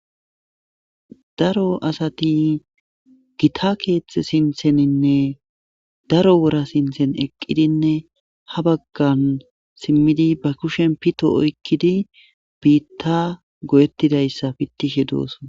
daro asati gita keethxe sintheninne daro wora sinthen eqqidinne ha baggan simmidi ba kushen pito oykkidi biitta goyettidayssa pittishe dooso